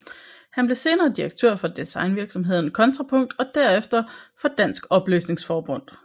Han blev senere direktør for designvirksomheden Kontrapunkt og derefter for Dansk Oplysnings Forbund